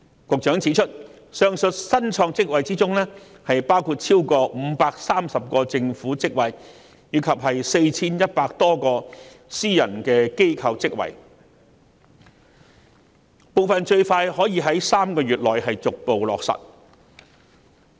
局長指出，上述新創職位包括逾530個政府職位及 4,100 多個私人機構職位，部分最快可以在3個月內逐步開創。